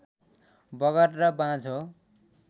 बगर र बाँझो